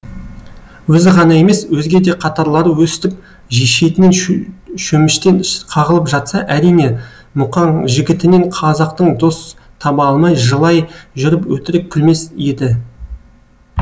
өзі ғана емес өзге де қатарлары өстіп шетінен шөміштен қағылып жатса әрине мұқаң жігітінен қазақтың дос таба алмай жылай жүріп өтірік күлмес еді